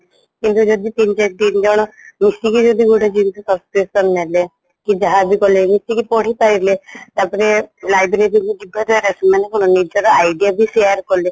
କିନ୍ତୁ ତିନି ତିନି ଜଣ ମିଶିକି ଯଦି ଗୋଟେ ଜିନିଷ subscription ନେଲେ କି ଯାହାବି କଲେ ମିଶିକି ପଢି ପାରିଲେ ତାପରେ library କୁ ଯିବାଦ୍ଵାରା ମାନେ ନିଜର idea share କଲେ